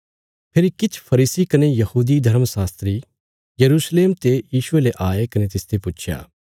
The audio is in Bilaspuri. फेरी किछ फरीसी कने यहूदी शास्त्री यरूशलेम ते यीशुये ले आये कने तिसते पुच्छया